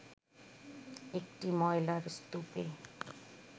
একটি ময়লার স্তূপে